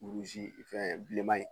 fɛn bilenman ye